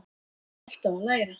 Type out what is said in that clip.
Ég er alltaf að læra.